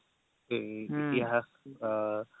এ ইতিহাস আ